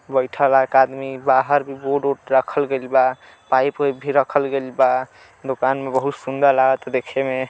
बइठल हा एक आदमी। बाहर भी बोर्ड ओड रखल गइल बा। पाइप ओइप भी रखल गइल बा। दुकान में बहुत सुंदर लागता देखे में।